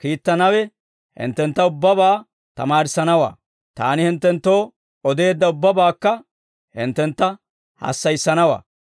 kiittanawe, hinttentta ubbabaa tamaarissanawaa. Taani hinttenttoo odeedda ubbabaakka hinttentta hassayissanawaa.